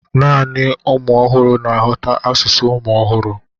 naanị ụmụ ọhụrụ na-aghọta asụsụ ụmụ ọhụrụ.